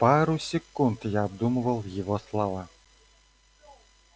пару секунд я обдумывал его слова